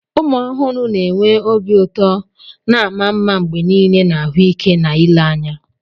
Ụmụ ọhụrụ na enwe obi ụtọ na ama mma mgbe niile na ahụike na ele anya.